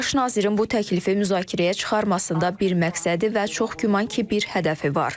Baş nazirin bu təklifi müzakirəyə çıxarmasında bir məqsədi və çox güman ki, bir hədəfi var.